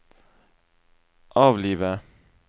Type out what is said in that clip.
avlive